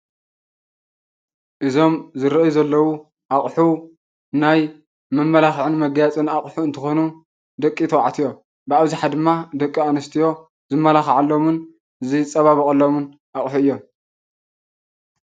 እዞም ዝርአዩ ዘለዉ ኣቑሑ ናይ መመላክዕን መጋየፅን ኣቑሑ እንትኮኑ ደቂ ተባዕትዮ ብኣብዝሓ ድማ ደቂ ኣነስትዮ ዝመላካዓሎምን ዝፀባበቃሎምን ኣቑሑ እዮም፡፡